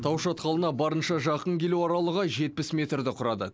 тау шатқалына барынша жақын келу аралығы жетпіс метрді құрады